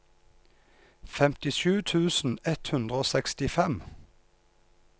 femtisju tusen ett hundre og sekstifem